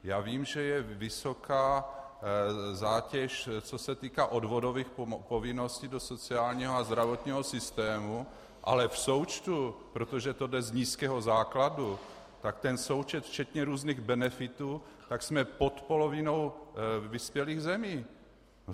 Já vím, že je vysoká zátěž, co se týká odvodových povinností do sociálního a zdravotního systému, ale v součtu, protože to jde z nízkého základu, tak ten součet včetně různých benefitů, tak jsme pod polovinou vyspělých zemí.